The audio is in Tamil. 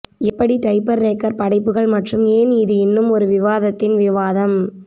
எப்படி டைபர்ரேக்கர் படைப்புகள் மற்றும் ஏன் இது இன்னும் ஒரு விவாதத்தின் விவாதம்